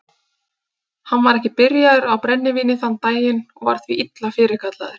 Hann var ekki byrjaður á brennivíni þann daginn og var því illa fyrirkallaður.